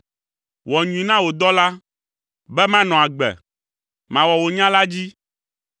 Wɔ nyui na wò dɔla, be manɔ agbe. Mawɔ wò nya la dzi.